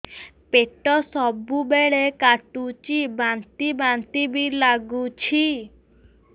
ପେଟ ସବୁବେଳେ କାଟୁଚି ବାନ୍ତି ବାନ୍ତି ବି ଲାଗୁଛି